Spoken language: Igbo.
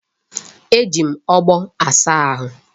E ji ogbo asa ahụ.